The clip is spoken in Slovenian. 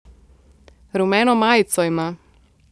Rumeno majico ima!